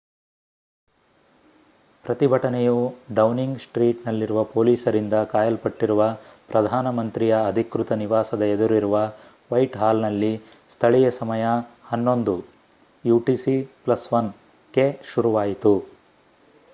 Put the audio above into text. ಪ್ರತಿಭಟನೆಯು Downing Street ನಲ್ಲಿರುವ ಪೊಲೀಸರಿಂದ ಕಾಯಲ್ಪಟ್ಟಿರುವ ಪ್ರಧಾನ ಮಂತ್ರಿಯ ಅಧಿಕೃತ ನಿವಾಸದ ಎದುರಿರುವ ವೈಟ್ ಹಾಲ್ ನಲ್ಲಿ ಸ್ಥಳೀಯ ಸಮಯ 11:00utc +1ಕ್ಕೆ ಶುರುವಾಯಿತು